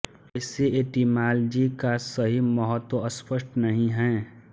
ऐसे एटिमालजी का सही महत्व स्पष्ट नहीं है